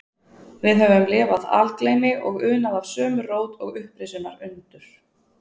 Við höfum lifað algleymi og unað af sömu rót og upprisunnar undur